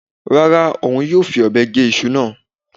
Rárá, òun yóò fi ọ̀bẹ gé iṣu náà.